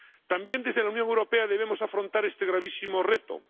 También, desde la Unión Europea, debemos afrontar este gravísimo reto.